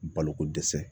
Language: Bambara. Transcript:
Baloko dɛsɛ